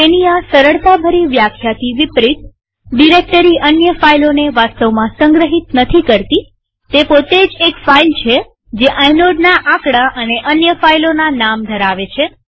તેની આ સરળતાભરી વ્યાખ્યાથી વિપરીતડિરેક્ટરી અન્ય ફાઈલોને વાસ્તવમાં સંગ્રહિત નથી કરતીતે પોતે જ એક ફાઈલ છે જે આઇનોડના આકડા અને અન્ય ફાઈલોના નામ ધરાવે છે